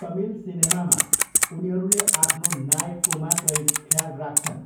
तमिल सिनेमामा उनीहरूले आफ्नो नायकको मात्रै ख्याल राख्छन्।